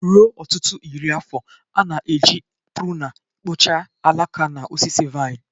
Ruo ọtụtụ iri afọ, a na-eji pruna kpụchaa alaka na osisi vaịn.